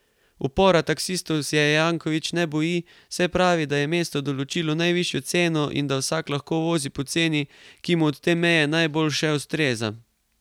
Upora taksistov se Janković ne boji, saj pravi, da je mesto določilo najvišjo ceno in da vsak lahko vozi po ceni, ki mu od te meje navzdol še ustreza.